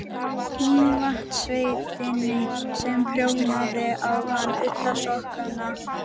Mývatnssveitinni sem prjónaði á hann ullarsokkana.